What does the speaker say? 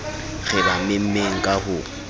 re ba memmeng ka ho